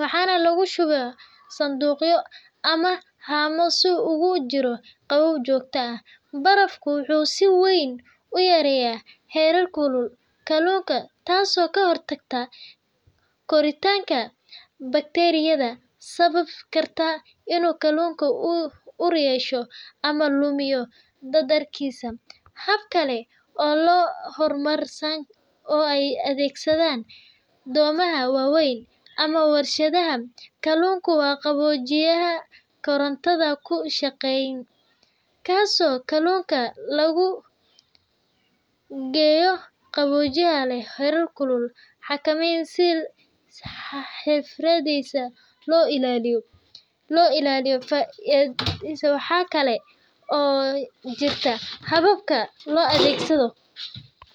waxaana lagu shubaa sanduuqyo ama haamo si uu ugu jiro qabow joogto ah. Barafku wuxuu si weyn u yareeyaa heerkulka kalluunka, taasoo ka hortagta koritaanka bakteeriyada sababi karta inuu kalluunku ur yeesho ama lumiyo dhadhankiisa. Hab kale oo horumarsan oo ay adeegsadaan doomaha waaweyn ama warshadaha kalluunka waa qaboojiyaha korontada ku shaqeeya , kaasoo kalluunka lagu geliyo qaboojiye leh heerkul la xakameeyo si si xirfadeysan loo ilaaliyo tayadiisa. Waxaa kale oo jirta habka loo adeegsado .